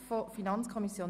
/ Planungserklärung